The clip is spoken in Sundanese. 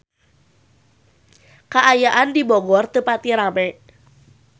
Kaayaan di Bogor teu pati rame